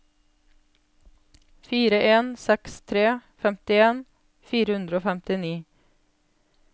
fire en seks tre femtien fire hundre og femtini